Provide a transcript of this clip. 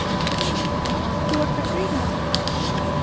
Hann stirðnaði bókstaflega í sæti sínu.